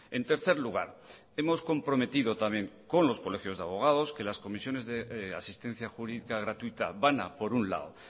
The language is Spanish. en tercer lugar hemos comprometido también con los colegios de abogados que las comisiones de asistencia jurídica gratuita van a por un lado